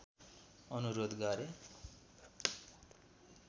अनुरोध गरे